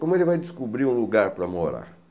Como ele vai descobrir um lugar para morar?